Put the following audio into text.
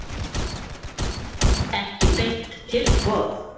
Ekki beint tilboð.